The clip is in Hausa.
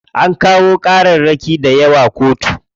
An kawo ƙararraki dayawa kotu.